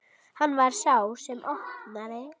Hann var sá sem opnaði.